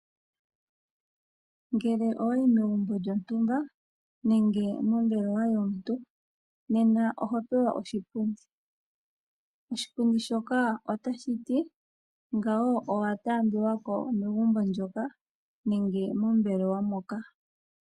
Ngele owe ya megumbo lyontumba nenge mombelewa yomuntu nena oho pewa oshipundi. Oshipundi shoka otashi ngawo owa taambiwa ko megumbo moka nenge mombelewa moka.